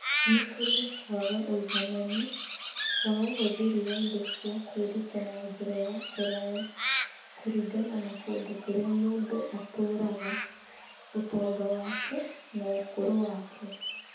Nĩ kurĩ na kwaga ũigananĩ wa ũhũthĩri wa indo cia kwĩruta na njĩra ya kũraya kũringana na kũndũ kũrĩa mũndũ atũũraga, ũtonga wake, na ũkũrũ wake.